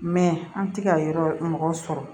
Mɛ an tɛ ka yɔrɔ mɔgɔw sɔrɔ